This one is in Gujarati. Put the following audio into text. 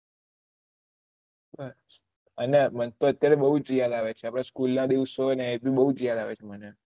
હા અને મને તો અત્યારે બહુ યાદ આવે છે આપડા સ્કૂલ ના દીવસે ને એ ભી બહુ યાદ આવે છે